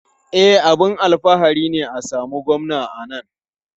E, abin alfahari ne a samu Gwamna a nan.